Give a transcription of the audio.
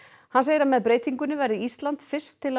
hann segir að með breytingunni verði Ísland fyrst til að